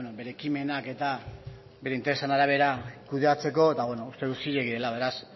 bere ekimenak eta bere interesen arabera kudeatzeko eta uste dut zilegi dela beraz